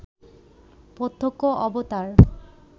প্রত্যক্ষ অবতার